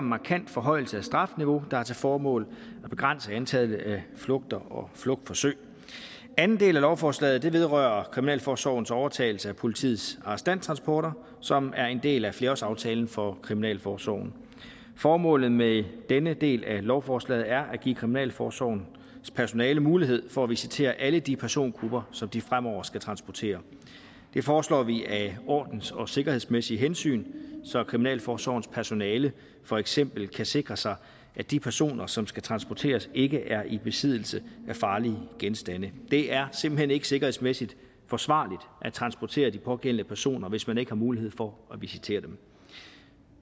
markant forhøjelse af strafniveauet hvilket har til formål at begrænse antallet af flugter og flugtforsøg anden del af lovforslaget vedrører kriminalforsorgens overtagelse af politiets arrestanttransporter som er en del af flerårsaftalen for kriminalforsorgen formålet med denne del af lovforslaget er at give kriminalforsorgens personale mulighed for at visitere alle de persongrupper som de fremover skal transportere det foreslår vi af ordens og sikkerhedsmæssige hensyn så kriminalforsorgens personale for eksempel kan sikre sig at de personer som skal transporteres ikke er i besiddelse af farlige genstande det er simpelt hen ikke sikkerhedsmæssigt forsvarligt at transportere de pågældende personer hvis man ikke har mulighed for at visitere dem